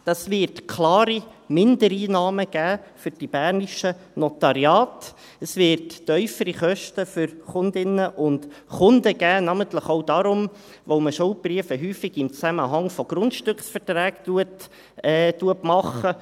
Dies wird für die bernischen Notariate klare Mindereinnahmen geben, es wird tiefere Kosten für Kundinnen und Kunden geben, namentlich auch darum, weil man Schuldbriefe häufig im Zusammenhang mit Grundstückverträgen macht.